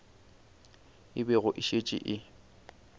e bego e šetše e